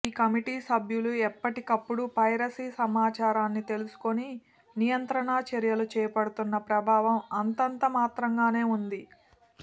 ఈ కమిటీ సభ్యులు ఎప్పటికప్పుడు పైరసీ సమాచారాన్ని తెలుసుకుని నియంత్రణ చర్యలు చేపడుతున్నా ప్రభావం అంతంత మాత్రంగానే ఉంది